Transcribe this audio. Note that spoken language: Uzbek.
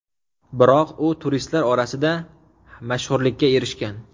Biroq u turistlar orasida mashhurlikka erishgan.